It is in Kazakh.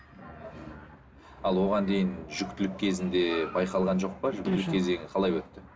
ал оған дейін жүктілік кезінде байқалған жоқ па жүктілік кезең қалай өтті